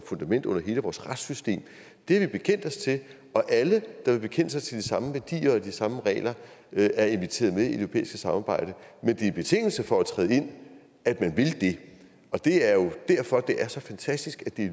fundament under hele vores retssystem det har vi bekendt os til og alle der vil bekende sig til de samme værdier og de samme regler er inviteret med i det europæiske samarbejde men det er en betingelse for at træde ind at man vil det og det er jo derfor det er så fantastisk at det